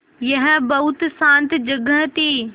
यह बहुत शान्त जगह थी